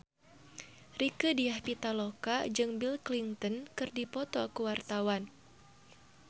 Rieke Diah Pitaloka jeung Bill Clinton keur dipoto ku wartawan